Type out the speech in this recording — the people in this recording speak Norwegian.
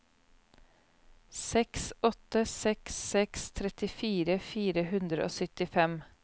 seks åtte seks seks trettifire fire hundre og syttifem